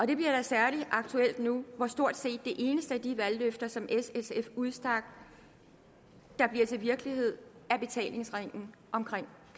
det bliver særlig aktuelt nu hvor stort set det eneste af de valgløfter som s sf udstak der bliver til virkelighed er betalingsringen omkring